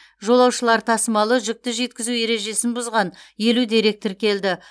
жолаушылар тасымалы жүкті жеткізу ережесін бұзған елу дерек тіркелді